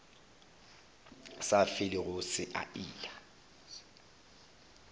sa felego se a ila